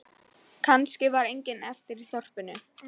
Kannski var enginn eftir í þorpinu.